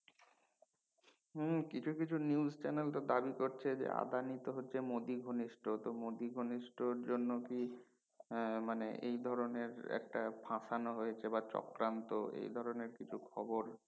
হম কিছু কিছু news channel তো দাবি করছে যে আদানি তো হচ্ছে মদি ঘনিষ্ট, মদি ঘনিষ্ট জন্য কি আহ মানে এই ধরনের একটা ফাসানো হয়েছে বা চক্রান্ত এই ধরনের কিছু খবর